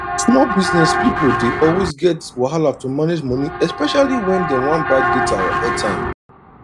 small business people dey always get wahala to manage money especially when dem wan buy data or airtime